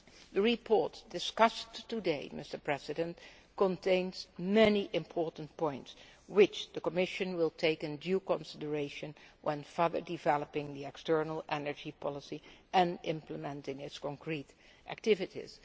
The report discussed today contains many important points, which the Commission will take into due consideration when further developing the external energy policy and implementing its concrete activities.